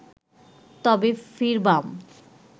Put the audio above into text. তবে ফিরবাম